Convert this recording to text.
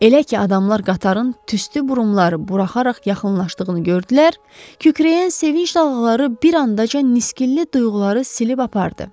Elə ki, adamlar qatarın tüstü burumları buraxaraq yaxınlaşdığını gördülər, kükrəyən sevinc dalğaları bir anadaca niskinli duyğuları silib apardı.